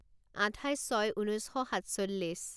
আঠাইছ ছয় ঊনৈছ শ সাতচল্লিছ